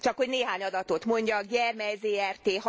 Csak hogy néhány adatot mondjak, Gyermely Zrt.